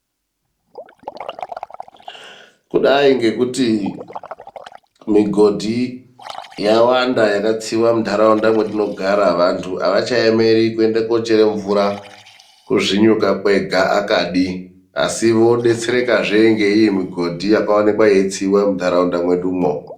Kudai ngekuti migodhi yawanda yakatsiwa mundaraunda mwetogara. Vandu avachaemeri kuende koochere mvura kuzvinyuka kwega akadi, asi vodetserekazve ngeiyi migodhi yakaonekwa yeitsiwa mundaraunda mwedumwo.